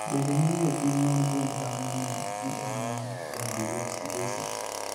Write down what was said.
bende nitiere pim mar gund dhano ne GM1 gangliosidosis?